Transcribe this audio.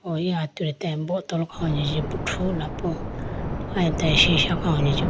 O eya atudi bottol khawuji chibo thrula po aye atage sisha khawuji chibi.